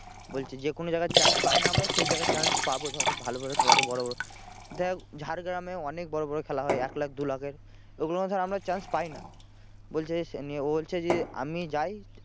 বলছে যে কোনো জায়গার chance পাই না আমরা সেই জায়গায় chance পাবো ধর ভালো ভালো খেলাতে বড়ো বড়ো দেখ ঝাড়গ্রামে অনেক বড়ো বড়ো খেলা হয় এক লাখ দু লাখের ও গুলো ধর আমরা chance পাই না। বলছে যে ও বলছে যে আমি যাই